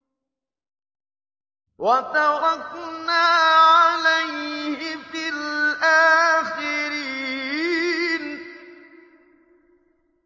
وَتَرَكْنَا عَلَيْهِ فِي الْآخِرِينَ